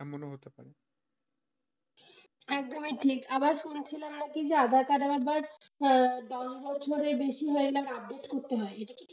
একদমই ঠিক আবার শুনছিলাম নাকি যে aadhaar card আবার download করে বেশি হয়ে গেলে update করতে হয়। এটা কি ঠিক?